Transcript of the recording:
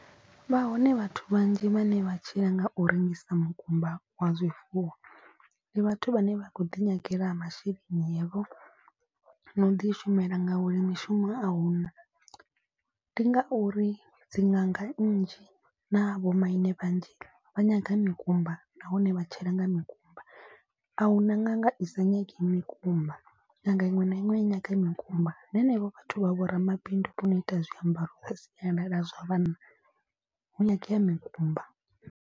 Vha hone vhathu vhanzhi vhane vha tshila nga u rengisa mukumba wa zwifuwo. Ndi vhathu vhane vha khou ḓi nyagela masheleni avho na u ḓi shumela ngauri mishumo ahuna. Ndi ngauri dzi ṅanga nnzhi na vho maine vhanzhi vha nyaga mikumba nahone vha tshila nga mikumba. A hu na nga nga i sa nyagi mikumba ṅanga iṅwe na iṅwe nyaga mikumba. Na henevho vhathu vha vha vho ramabindu vho no ita zwiambaro zwa sialala zwa vhanna vho nyangea mikumba.